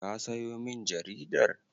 Ka sayo min jaridar?